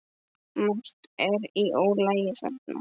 Margt er í ólagi þarna.